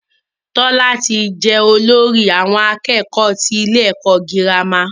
Tọ́lá ti je olórí àwon akékòó tí ilé ẹ̀kọ́ girama